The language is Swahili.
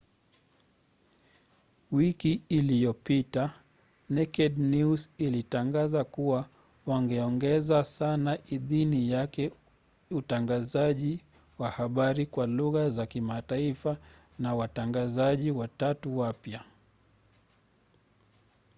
wiki iliyopita naked news ilitangaza kuwa wangeongeza sana idhini yake ya utangazaji wa habari kwa lugha za kimataifa na watangazaji watatu wapya